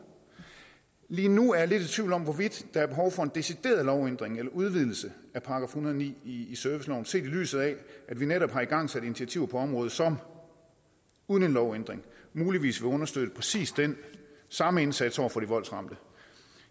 lige nu er jeg lidt i tvivl om hvorvidt der er behov for en decideret lovændring eller en udvidelse af § en hundrede og ni i serviceloven set i lyset af at vi netop har igangsat initiativer på området som uden en lovændring muligvis vil understøtte præcis den samme indsats over for de voldsramte